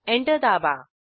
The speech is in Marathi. एंटर दाबा